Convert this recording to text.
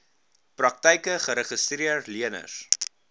praktyke geregistreede leners